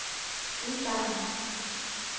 udgangen